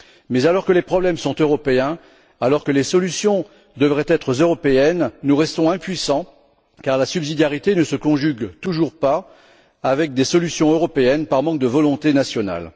mais alors que les problèmes sont européens, alors que les solutions devraient être européennes, nous restons impuissants, car la subsidiarité ne se conjugue toujours pas avec des solutions européennes, et ce par manque de volonté nationale.